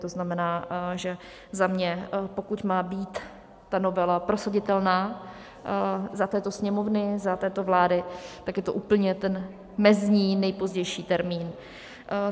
To znamená, že za mě, pokud má být ta novela prosaditelná za této Sněmovny, za této vlády, tak je to úplně ten mezní, nejpozdější termín.